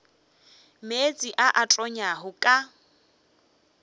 meetse a a tonyago ka